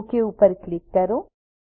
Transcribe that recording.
okay પર click કરો